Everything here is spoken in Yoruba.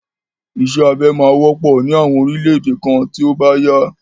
Isẹ́ abẹ máa wọ́pọ̀ ní àwọn orílẹ̀ èdè kan tí ó bá yá.